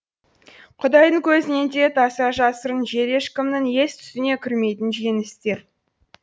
құдайдың көзінен де таса жасырын жер ешкімнің ес түсіне кірмейтін жеңістер